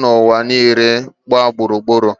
n’ụwa niile gba gburur.